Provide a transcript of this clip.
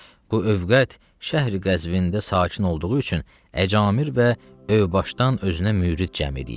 bu övqət şəhri-Qəzvində sakin olduğu üçün əcamir və əvbaşdan özünə mürid cəm eləyib.